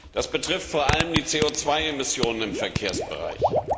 Das betrifft vor allem die CO Emissionen im Verkehrsbereich.